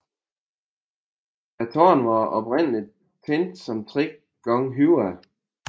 Tårnene var oprindeligt tænkt som tre gange højere